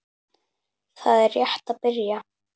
Það er rétt að byrja.